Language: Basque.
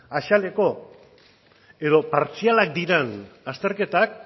azaleko edo partzialak diran azterketak